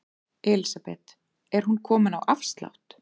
Elísabet: Er hún komin á afslátt?